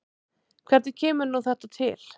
Hvernig kemur nú þetta til?